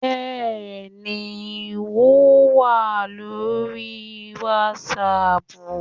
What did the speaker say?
Bẹ́ẹ̀ni wo wà lórí wàsáàpù